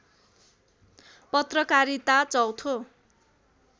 पत्रकारिता चौथो